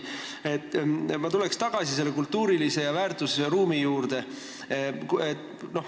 Ma tulen tagasi selle kultuurilise väärtusruumi juurde.